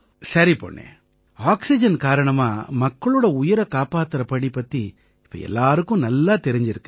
சரி பொண்ணே ஆக்சிஜன் காரணமா மக்களோட உயிரைக் காப்பாத்தற பணி பத்தி இப்ப எல்லாருக்கும் நல்லாத் தெரிஞ்சிருக்கு